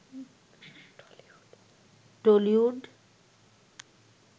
Tollywood